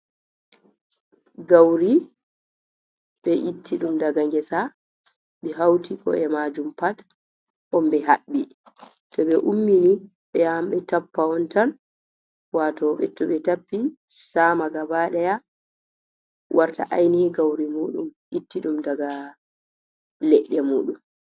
Gawri ɓe itti ɗum daga ngesa ,ɓe hawti ko’e maajum pat, on ɓe haɓɓi. To ɓe ummi ni ,ɓe yahan ɓe tappa on tan. Waato to ɓe tappi saama gabaɗaya ,warta aynihi gawri muuɗum, itta ɗum daga leɗɗe muuɗum.